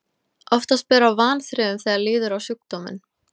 Oftast ber á vanþrifum þegar líður á sjúkdóminn.